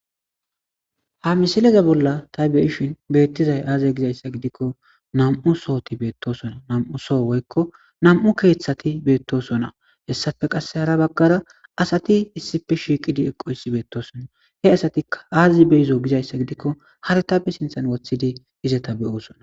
Ha misileza bolla ta beyishin beettizay aaze gizayssa gidikko nam7u sohoti beettosona nam7u soo woykko nam7u keeththati beettosona hessafe qasse hara baggara asati issife shiiqidi eqoysi beettosona he asatika aazi be izo gizayssa gidikko hartabe sinthan wothidi izeta beyoosona.